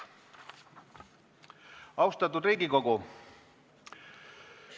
Austatud Riigikogu!